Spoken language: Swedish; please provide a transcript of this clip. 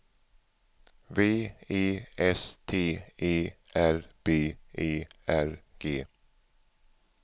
V E S T E R B E R G